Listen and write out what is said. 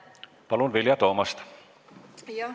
Palun, Vilja Toomast!